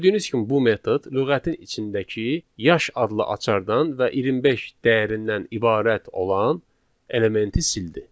Gördüyünüz kimi bu metod lüğətin içindəki yaş adlı açardan və 25 dəyərindən ibarət olan elementi sildi.